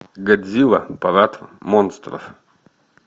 годзилла парад монстров